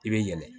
I bɛ yɛlɛ